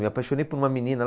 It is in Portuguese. Me apaixonei por uma menina.